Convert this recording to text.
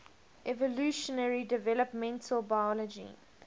evolutionary developmental biology